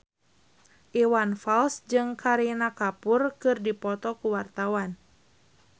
Iwan Fals jeung Kareena Kapoor keur dipoto ku wartawan